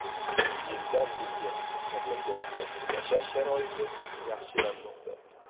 Yildan yilga mamlakatda yashash sharoiti yaxshilanmoqda.